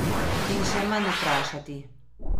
In še manj vprašati.